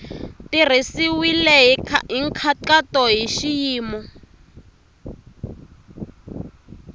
tirhisiwile hi nkhaqato hi xiyimo